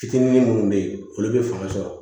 Fitinin munnu be yen olu be fanga sɔrɔ